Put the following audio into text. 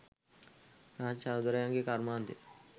රාජ් සහෝදරයගේ කර්මාන්තය